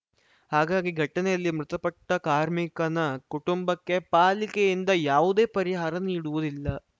ಹಾಗಾಗಿ ಘಟನೆಯಲ್ಲಿ ಮೃತಪಟ್ಟಕಾರ್ಮಿಕನ ಕುಟುಂಬಕ್ಕೆ ಪಾಲಿಕೆಯಿಂದ ಯಾವುದೇ ಪರಿಹಾರ ನೀಡುವುದಿಲ್ಲ